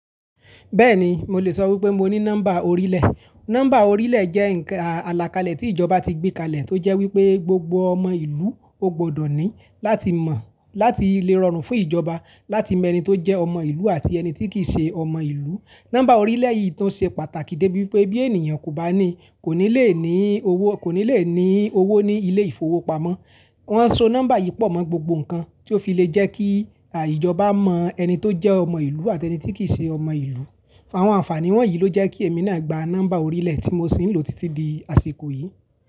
Bẹ́ẹ̀ni, mo lè sọ wípé mo ní nọ́mbà orílẹ̀. Nọ́mbà orílẹ̀ jẹ́ àlàkalẹ̀ tí ìjọba ti gbé kalẹ̀ tó jẹ́ wípé gbogbo ọmọ ìlú ó gbọdọ̀ ní láti lè rọrùn fún ìjọba láti mọ ẹni tó jẹ́ ọmọ ìlú àti ẹni tí kì í ṣe ọmọ ìlú. Nọ́mbà orílẹ̀ yìí tó ṣe pàtàkì débi wípé bí ènìyàn kò bá ní, kò ní lè ní owó ní ilé ìfowópamọ́. Wọn so nọ́mbà yìí pọ̀ mọ́ gbogbo nǹkan tí ó fi lè jẹ́ kí ìjọba mọ ẹni tó jẹ́ ọmọ ìlú àti ẹni tí kì í ṣe ọmọ ìlú. Àwọn àǹfààní wọ̀nyí ló jẹ́ kí èmi náà gba nọ́mbà orílẹ̀ tí mo sì ń lò títí di àsìkò yìí.